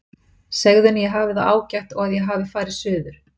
Segðu henni að ég hafi það ágætt og að ég hafi farið suður.